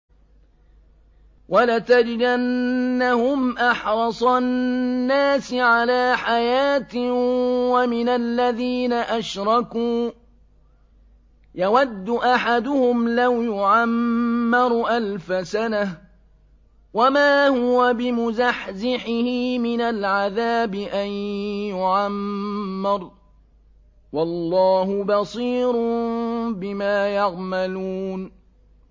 وَلَتَجِدَنَّهُمْ أَحْرَصَ النَّاسِ عَلَىٰ حَيَاةٍ وَمِنَ الَّذِينَ أَشْرَكُوا ۚ يَوَدُّ أَحَدُهُمْ لَوْ يُعَمَّرُ أَلْفَ سَنَةٍ وَمَا هُوَ بِمُزَحْزِحِهِ مِنَ الْعَذَابِ أَن يُعَمَّرَ ۗ وَاللَّهُ بَصِيرٌ بِمَا يَعْمَلُونَ